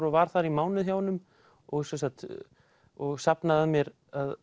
og var þar í mánuð hjá honum og og safnaði að mér